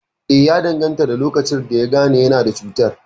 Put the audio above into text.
Eh, ya danganta da lokacin da yagane yana da cutar